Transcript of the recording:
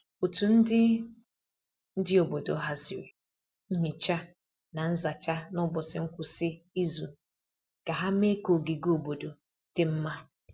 Otu ndi ndi obodo haziri nhicha na nzacha n’ụbọchị ngwụsị izu ka ha mee ka ogige obodo dị mma.